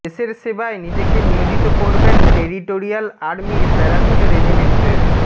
দেশের সেবায় নিজেকে নিয়োজিত করবেন টেরিটোরিয়াল আর্মির প্যারাশুট রেজিমেন্টের